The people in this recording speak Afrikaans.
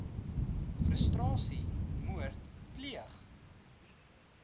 frustrasie moord pleeg